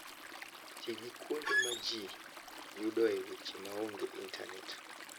Ti gi kuonde ma ji yudoe weche maonge intanet.